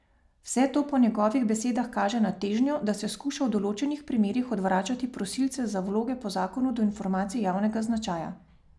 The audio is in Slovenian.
Vse to po njegovih besedah kaže na težnjo, da se skuša v določenih primerih odvračati prosilce za vloge po zakonu do informacij javnega značaja.